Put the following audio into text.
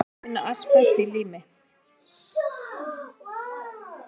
Einnig má finna asbest í lími, leir og gólfdúkum, svo dæmi séu tekin.